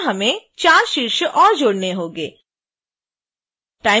इसी तरह हमें 4 शीर्ष और जोड़ने होंगे